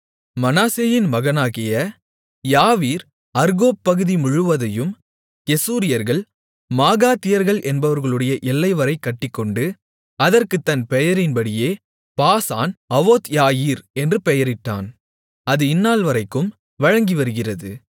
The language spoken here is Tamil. மனாசேயின் மகனாகிய யாவீர் அர்கோப் பகுதி முழுவதையும் கெசூரியர்கள் மாகாத்தியர்கள் என்பவர்களுடைய எல்லைவரை கட்டிக்கொண்டு அதற்குத் தன் பெயரின்படியே பாசான் அவோத்யாயீர் என்று பெயரிட்டான் அது இந்நாள்வரைக்கும் வழங்கிவருகிறது